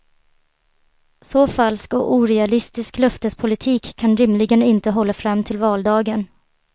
Så falsk och orealistisk löftespolitik kan rimligen inte hålla fram till valdagen.